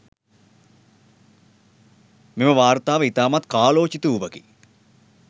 මෙම වාර්තාව ඉතාමත් කාලෝචිත වූවකි.